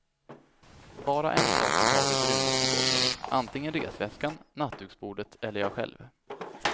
Bara en sak i taget rymdes på golvet, antingen resväskan, nattduksbordet eller jag själv.